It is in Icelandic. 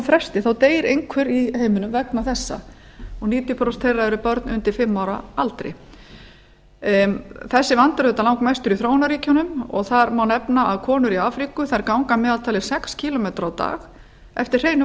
fresti deyr einhver í heiminum vegna þessa og níutíu prósent þeirra eru börn undir fimm ára aldri þessi vandi er auðvitað langmestur í þróunarríkjunum og þar má nefna að konur í afríku ganga að meðaltali sex kílómetra á dag eftir hreinu